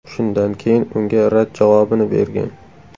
Shundan keyin unga rad javobini bergan.